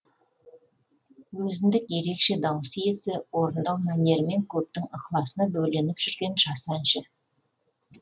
өзіндік ерекше дауыс иесі орындау мәнерімен көптің ықыласына бөленіп жүрген жас әнші